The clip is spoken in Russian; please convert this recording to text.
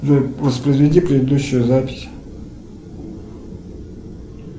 джой воспроизведи предыдущую запись